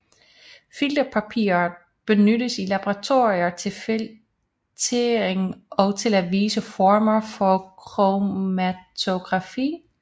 Filtrerpapir benyttes i laboratorier til filtrering og til visse former for kromatografi